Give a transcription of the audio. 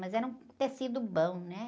Mas era um tecido bom, né?